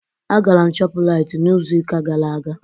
Agara m Shọpuraiti n'izu ụka gara aga.